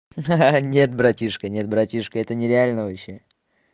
ха-ха нет братишка нет братишка это нереально вообще